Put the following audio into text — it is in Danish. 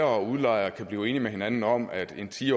og udlejer kan blive enige med hinanden om at en ti